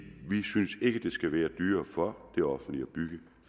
vi synes ikke det skal være dyrere for det offentlige at bygge